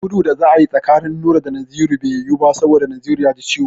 Gudu da za a yi tsakanin Nura da Naziru bai yiwu ba saboda Naziru ya ji ciwo.